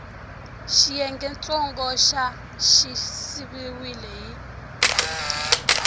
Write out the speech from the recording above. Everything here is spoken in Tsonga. xiyengentsongo xa xi siviwile hi